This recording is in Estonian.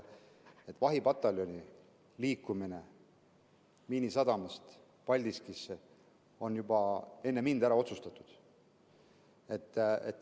Vahipataljoni liikumine Miinisadamast Paldiskisse on juba enne mind ära otsustatud.